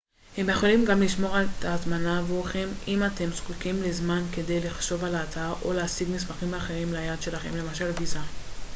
הם יכולים גם לשמור את ההזמנה עבורכם אם אתם זקוקים לזמן כדי לחשוב על ההצעה או להשיג מסמכים אחרים ליעד שלכם למשל ויזה